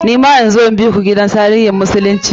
Ni ma in zo in biku gidan tarihin musulunci?